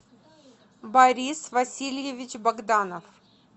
борис васильевич богданов